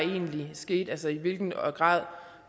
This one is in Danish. skete altså i hvilken grad